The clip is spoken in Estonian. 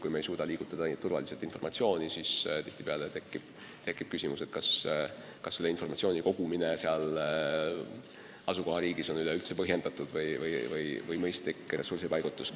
Kui me ei suuda informatsiooni turvaliselt liigutada, siis tihtipeale tekib küsimus, kas informatsiooni kogumine seal asukohariigis on üleüldse põhjendatud või mõistlik ressursipaigutus.